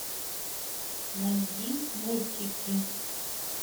найди мультики